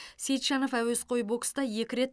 сейітжанов әуесқой бокста екі рет